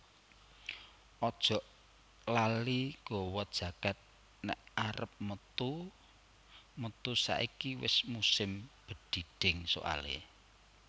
Ojok lali gawa jaket nek arep metu metu saiki wes musim bedhidhing soale